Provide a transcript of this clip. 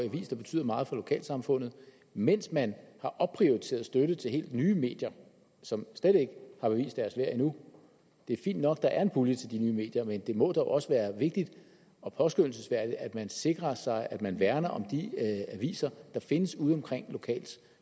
avis der betyder meget for lokalsamfundet mens man har opprioriteret støtte til helt nye medier som slet ikke har bevist deres værd endnu det er fint nok at der er en pulje til de nye medier men det må da også være vigtigt og påskønnelsesværdigt at man sikrer sig at man værner om de aviser der findes udeomkring lokalt